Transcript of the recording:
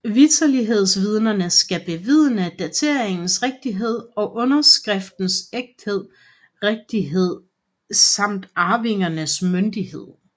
Vitterlighedsvidnerne skal bevidne dateringens rigtighed og underskriftens ægthed rigtighed samt arvingens myndighed